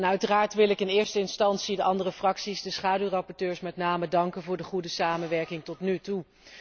Uiteraard wil ik in eerste instantie de andere fracties, de schaduwrapporteurs met name, danken voor de goede samenwerking tot nu toe.